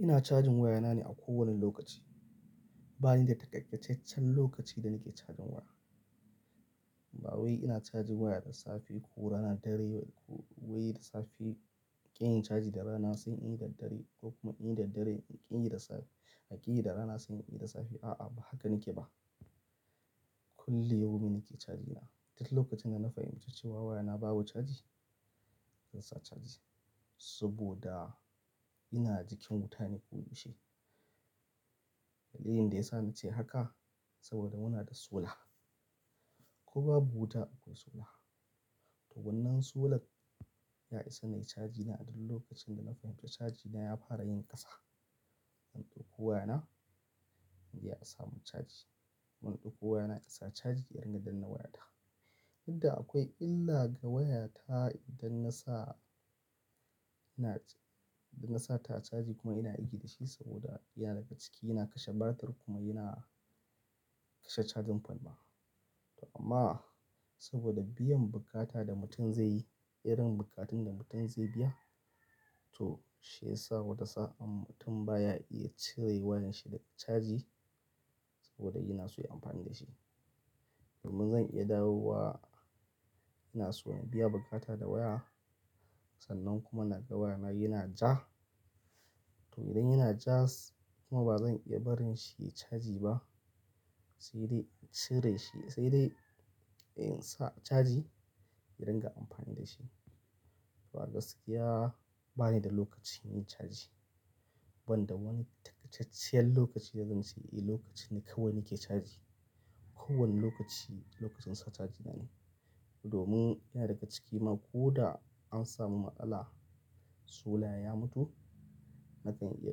Ina cajin wayana ne a kowane lokaci. Ba ni da takakaccaccen lokaci da nake cajin waya. Ba wai ina cajin waya da safe ko rana dare, ko wai da safe kin yi caji da rana sai in yi da dare ko kuma in yi da dare in ƙi yi da rana sai in ƙi yi da safe. A'a, ba haka nake ba. Kullu yau min nake caji ina. Duk lokacin da na fahimci cewa wayana babu caji, zan sa caji saboda ina jikin wuta ne koyaushe. Dalilin da ya sa na ce haka saboda muna da sola. Ko babu wuta akwai sola. To wannan solan ya isa na yi cajina duk lokacin da na fahimci cajina ya fara yin ƙasa. In ɗauko wayana, inje a sa mun caji. In ɗauko wayana insa caji, in riga danna wayana daga. Inda akwai illa ga waya ta idan na sa, ina, idan na sa ta caji kuma ina aiki da shi saboda yana daga ciki, yana kashe batir kuma yana kashe cajin fal ma. To amma saboda biyan bukata da mutum zai yi, irin bukatun da mutum zai biya, to shi ya sa wata sa'ad mutum baya iya cire wayar shi daga caji saboda yana so yin amfani da shi. Domin zan iya dawowa, ina so in biya bukata da waya. Sannan kuma na ga wayana yana ja. To idan yana ja kuma ba zan iya barin shi yayi caji ba, sai dai in cire shi, sai dai in sa caji in riga amfani da shi. To a gaskiya ba ni da lokaci yin caji. Ban da wani takakacciyar lokaci da zan ce eh lokaci ne kawai nake caji. Ko wane lokaci, lokacin sa caji na ne. Domin yana daga ciki kuma ko da an samu matsala, sola ya mutu, nakan iya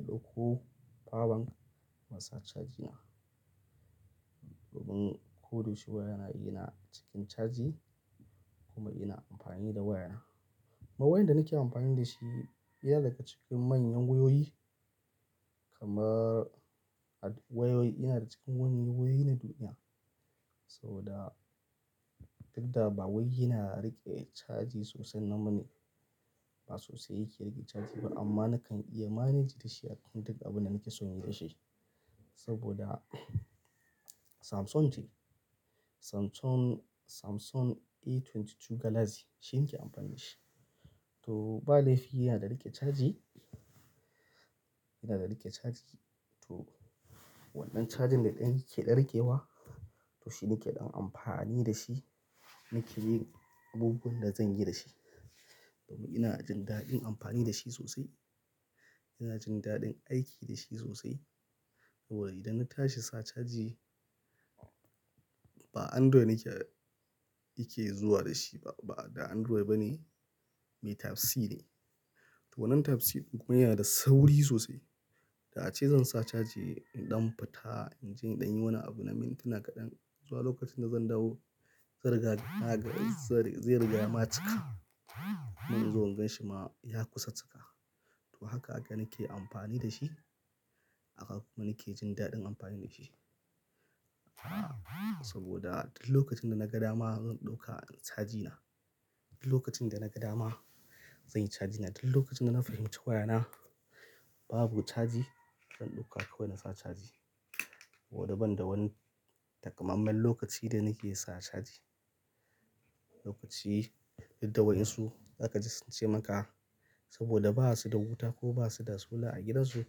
ɗauko power bank na sa cajina. Domin ko dashi wayana yana cikin caji kuma ina amfani da wayana. Ma wayar da nake amfani da shi yana daga cikin manyan wayoyi. Kuma wayoyi yana daga cikin wani wayoyi na duniya. Saboda duk da ba wai ya na riƙe caji sosai nan bane, ba sosai yake riƙe caji ba amma nakan iya manage da shi a duk abin da nake so yin da shi. Saboda Samsung ce. Samsung, Samsung A22 Galaxy shine nake amfani da shi. To ba laifi yana riƙe caji, yana riƙe caji. To wannan cajin da ɗan yake ɗarkewa, to shi nake ɗan amfani da shi. Nake yin abubuwan da zan yi da shi. Domin ina jin daɗin amfani da shi sosai. Ina jin daɗin aiki da shi sosai. Saboda idan na tashi sa caji, ba Android nake, yake zuwa da shi ba. Ba da Android ba ne, mai Type C ne. To wannan Type C kuma yana da sauri sosai. Da ace zan sa caji in ɗan fita, in je in ɗan yi wani abu na mintuna kaɗan. Zuwa lokacin da zan dawo, zan riga zai riga ma cika. Zan zo in gan shi ma ya kusa cika. To haka haka nake amfani da shi. Haka kuma nake jin daɗin amfani da shi. Saboda duk lokacin da naga dama zan ɗauka cajina. Duk lokacin da naga dama zan yi cajina. Duk lokacin da na fahimci wayana babu caji, zan ɗauka kawai na sa caji. Saboda ban da wani takamammen lokaci da nake sa caji. Lokaci, duk da wayinsu zaka ji sun ce maka saboda ba su da wuta ko ba su da sola a gidansu,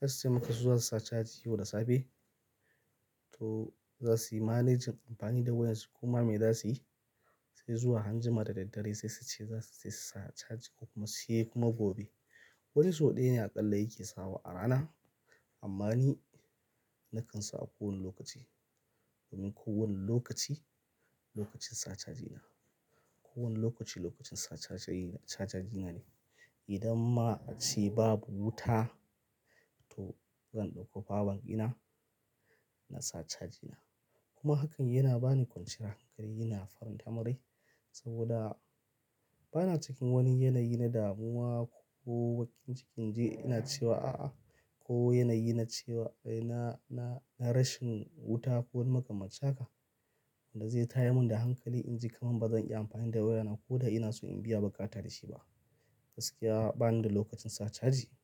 zasu ce maka su za su sa caji yau da safe. To za su yi managing amfani da wayar su kuma me za su yi sai zuwa anjima da daddare sai su ce za su tafi sa caji ko kuma sai kuma gobe. Wani sau ɗaya ne aƙalla yake sawa a rana. Amma ni nakan sa a kowane lokaci. Domin kowane lokaci lokacin sa cajina. Kowani lokaci lokacin sa cajina, sa cajina ne. Idan ma a ce babu wuta, to zan ɗauko power bank ina, na sa cajina. Kuma hakan yana bani kwanciyar hankali, yana faran tamin rai. Saboda bana cikin wani yanayi na damuwa ko wai cikin inje ina cewa a'a. Ko yanayi na cewa, na, na, na rashin wuta ko wani maka mancin haka Da zai tayar mun da hankali in ji kaman ba zan iya amfani da wayana ko da ina so in biya bukata da shi ba. Gaskiya ba ni da lokacin sa caji.